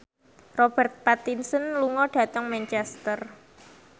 Robert Pattinson lunga dhateng Manchester